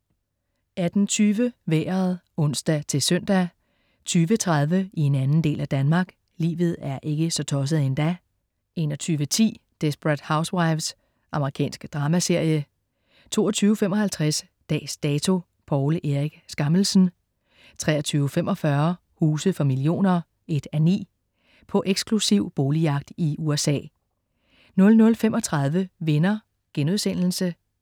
18.20 Vejret (ons-søn) 20.30 I en anden del af Danmark. Livet er ikke så tosset endda 21.10 Desperate Housewives. Amerikansk dramaserie 22.55 Dags Dato: Poul Erik Skammelsen 23.45 Huse for millioner 1:9. På eksklusiv boligjagt i USA 00.35 Venner*